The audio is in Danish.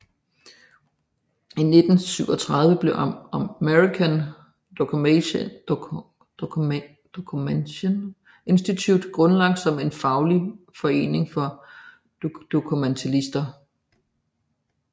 I 1937 blev American Documentation Institute grundlagt som en faglig forening for dokumentalister